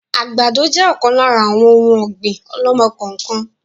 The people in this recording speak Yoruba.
Àgbàdo jẹ ọ̀kan lára àwọn òun ọ̀gbín ọ̀lọ́mọ-kọọ-kan